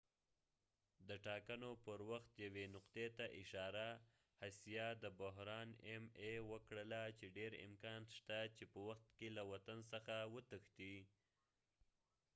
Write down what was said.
hsieh د ټاکنو پر وخت یوې نقطې ته اشاره وکړله چې ډیر امکان شته چې ma د بحران په وخت کې له وطن څخه وتښتي